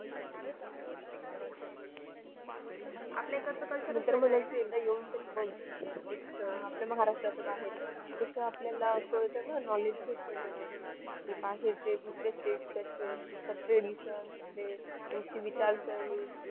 मी तर म्हणेल एकदा येऊन तरी बघ आपल्या महाराष्ट्राच्या बाहेर कसं अं आपल्याला कळतं knowledge भेटत तेवढं की बाहेरचे दुसऱ्याचे त्यांचं tradition त्यांचे विचारसरणी